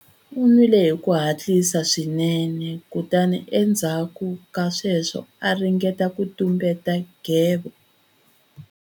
U nwile hi ku hatlisa swinene kutani endzhaku ka sweswo a ringeta ku tumbeta nghevo.